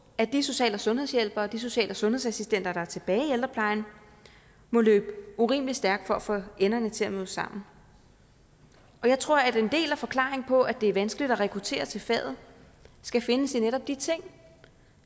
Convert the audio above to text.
at de social og sundhedshjælpere og de social og sundhedsassistenter der er tilbage i ældreplejen må løbe urimelig stærkt for at få enderne til at nå sammen og jeg tror at en del af forklaringen på at det er vanskeligt at rekruttere til faget skal findes i netop de ting